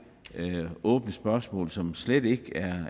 åbne spørgsmål som slet ikke